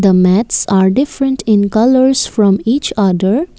The mats are different in colours from each other.